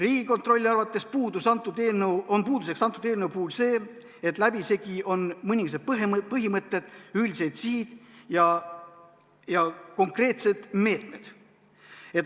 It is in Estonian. Riigikontrolli arvates on eelnõu puudus see, et läbisegi on mõningased põhimõtted, üldised sihid ja konkreetsed meetmed.